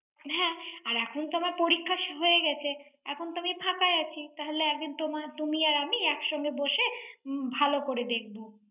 হ্যাঁ। আর এখন তো আবার পরীক্ষা হয়ে গেছে। এখন তো আমি ফাঁকা আছি। তাহলে একদিন তোমা~ তুমি আর আমি একসঙ্গে বসে, ভাল করে দেখব।